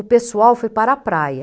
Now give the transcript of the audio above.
O pessoal foi para a praia.